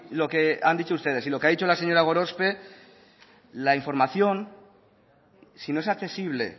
lo que han dicho ustedes y lo que ha dicho la señora gorospe la información si no es accesible